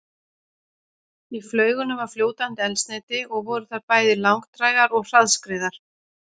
Í flaugunum var fljótandi eldsneyti og voru þær bæði langdrægar og hraðskreiðar.